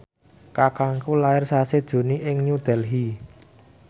kakangku lair sasi Juni ing New Delhi